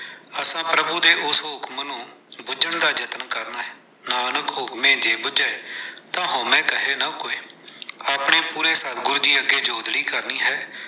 ਅਸਾਂ ਪ੍ਰਭੂ ਦੇ ਉਸ ਹੁਕਮ ਨੂੰ ਬੁਝਣ ਦਾ ਯਤਨ ਕਰਨਾ ਹੈ, ਨਾਨਕ ਹੁਕਮੇ ਜੇ ਬੁਝੇ, ਤਾ ਹਉਮੈ ਕਹਿ ਨਾ ਕੋਇ, ਆਪਣੇ ਪੂਰੇ ਸਤਿਗੁਰੂ ਜੀ ਅੱਗੇ ਜੋਦੜੀ ਕਰਨੀ ਹੈ।